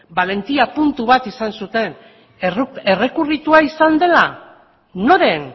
balentia puntu bat izan zuten errekurritua izan dela noren